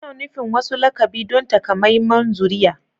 Ana nufin wasu lakabi don takamaiman zuriya